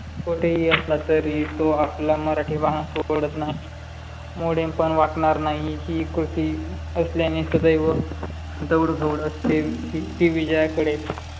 कोठेही असला तरी तो आपला मराठी बाणा सोडत नाही. मोडेन पण वाकणार नाही हि कृती असल्याने सदैव दौड दौड असते. ती विजयाकडे